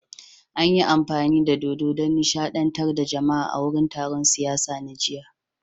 An yi amfani da dodo don nishadantar da jama'a a wurin taron siyasa na jiya